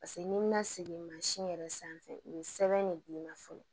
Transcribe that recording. Paseke n'i bɛna segin mansin yɛrɛ sanfɛ u ye sɛbɛn de d'i ma fɔlɔ